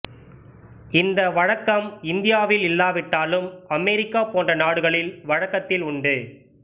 இந்த வழக்கம் இந்தியாவில் இல்லாவிட்டாலும் அமெரிக்கா போன்ற நாடுகளில் வழக்கத்தில் உண்டு